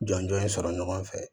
Jɔnjɔn in sɔrɔ ɲɔgɔn fɛ